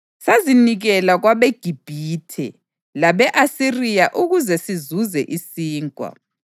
Sazinikela kwabeGibhithe labe-Asiriya ukuze sizuze isinkwa.